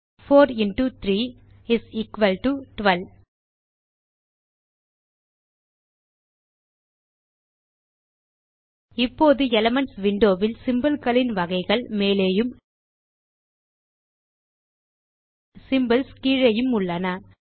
4எக்ஸ்3 is equal to 12 இப்போது elements window இல் symbol களின் வகைகள் மேலேயும் சிம்போல்ஸ் கீழேயும் உள்ளன